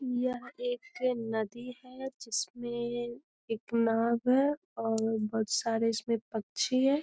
यह एक नदी है जिसमें एक नाव है और बोहत सारे इसमें पक्षी हैं ।